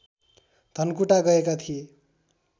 धनकुटा गएका थिए